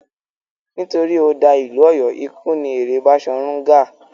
Nítorí ó da ìlú Ọ̀yọ́, ikú ni èrè Baṣọ̀run Gáà.